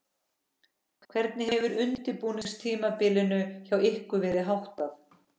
Hvernig hefur undirbúningstímabilinu hjá ykkur verið háttað?